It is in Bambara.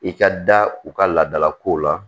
I ka da u ka laadalakow la